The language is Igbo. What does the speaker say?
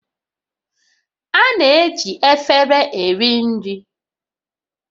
A na-eji efere eri nri